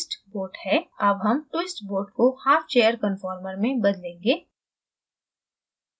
अब हम twist boat को half chair conformer में बदलेंगे